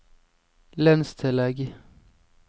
lønnstillegg